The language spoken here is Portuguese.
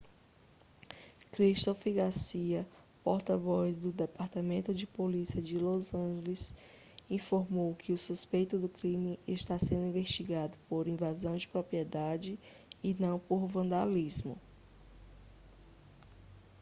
christopher garcia porta-voz do departamento de polícia de los angeles informou que o suspeito do crime está sendo investigado por invasão de propriedade e não por vandalismo